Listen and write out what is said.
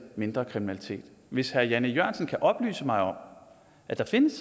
mindre kriminalitet hvis herre jan e jørgensen kan oplyse mig om at der findes